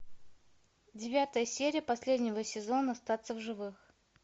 девятая серия последнего сезона остаться в живых